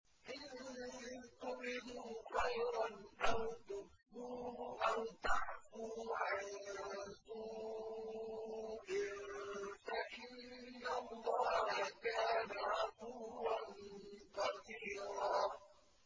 إِن تُبْدُوا خَيْرًا أَوْ تُخْفُوهُ أَوْ تَعْفُوا عَن سُوءٍ فَإِنَّ اللَّهَ كَانَ عَفُوًّا قَدِيرًا